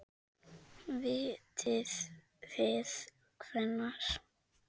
Vitið þið hvenær?